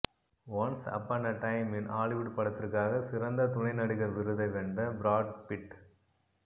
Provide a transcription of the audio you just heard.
once upon a time in Hollywood படத்திற்காக சிறந்த துணை நடிகர் விருதை வென்ற பிராட் பிட்